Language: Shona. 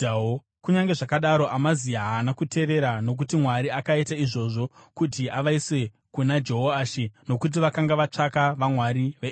Kunyange zvakadaro, Amazia haana kuteerera, nokuti Mwari akaita izvozvo kuti avaise kuna Jehoashi nokuti vakanga vatsvaka vamwari veEdhomu.